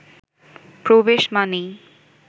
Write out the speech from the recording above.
প্রবেশ মানেই